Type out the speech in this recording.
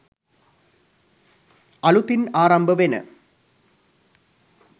අලුතින් ආරම්භ වෙන